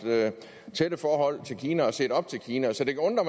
tætte forhold til kina og set op til kina så det kan undre